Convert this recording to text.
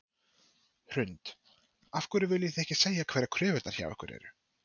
Hrund: Af hverju viljið þið ekki segja hverjar kröfurnar hjá ykkur eru?